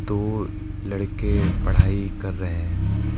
दो लड़के पढ़ाई कर रहे हैं।